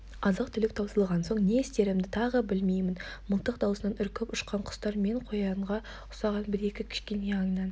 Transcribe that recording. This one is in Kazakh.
азық-түлік таусылған соң не істерімді тағы білмеймін мылтық даусынан үркіп ұшқан құстар мен қоянға ұқсаған бір-екі кішкене аңнан